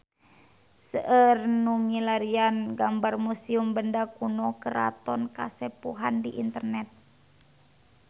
Seueur nu milarian gambar Museum Benda Kuno Keraton Kasepuhan di internet